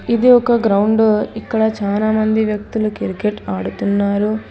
ఇది ఒక గ్రౌండు ఇక్కడ చానా మంది వ్యక్తులు క్రికెట్ ఆడుతున్నారు.